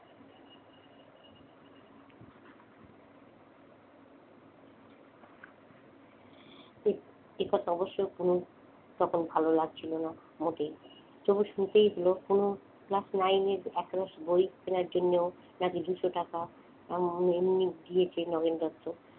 এ একথা অবশ্যই কুনু তখন ভালো লাগছিলো না মোটেই। তবুও শুনতেই হলো কুনু class nine এর একরাশ বই কেনার জন্যেও নাকি দুশ টাকা এমনি এমনি দিয়েছে নগেন দত্ত।